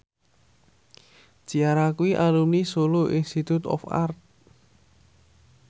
Ciara kuwi alumni Solo Institute of Art